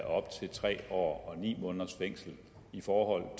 op til tre år og ni måneders fængsel for